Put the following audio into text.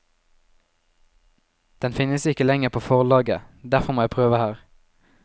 Den finnes ikke lenger på forlaget, derfor må jeg prøve her.